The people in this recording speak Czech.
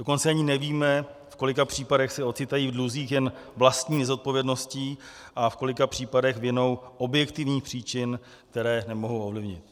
Dokonce ani nevíme, v kolika případech se ocitají v dluzích jen vlastní nezodpovědností a v kolika případech vinou objektivních příčin, které nemohou ovlivnit.